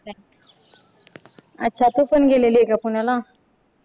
अच्छा तू पण गेलेली आहे का पुण्याला